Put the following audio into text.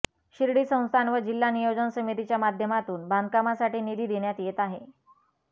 शिर्डी संस्थान व जिल्हा नियोजन समितीच्या माध्यमातून बांधकामासाठी निधी देण्यात येत आहे